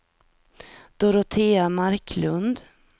Dorotea Marklund